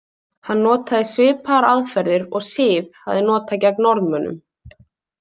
Hann notaði svipaðar aðferðir og Siv hafði notað gegn Norðmönnum.